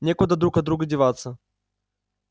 некуда друг от друга деваться